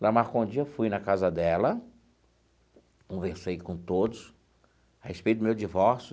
Ela marcou um dia, eu fui na casa dela, conversei com todos a respeito do meu divórcio.